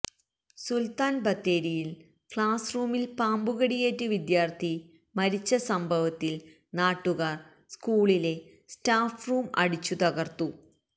സുൽത്താൻ ബത്തേരിയിൽ ക്ലാസ്സ്റൂമിൽ പാമ്പുകടിയേറ്റ് വിദ്യാർത്ഥി മരിച്ച സംഭവത്തിൽ നാട്ടുകാർ സ്കൂളിലെ സ്റ്റാഫ് റൂം അടിച്ചു തകർത്തു